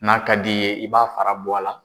N'a ka d' i ye , i b'a fara bɔ a la.